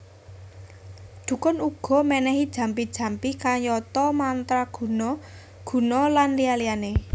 Dhukun uga ménéhi jampi jampi kayata mantra guna guna lan liya liyané